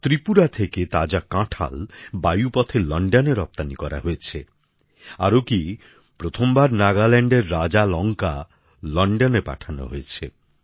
ত্রিপুরা থেকে তাজা কাঁঠাল আকাশপথে লণ্ডনে রপ্তানী করা হয়েছে আরও কী প্রথম বার নাগাল্যাণ্ডের রাজালঙ্কা লণ্ডনে পাঠানো হয়েছে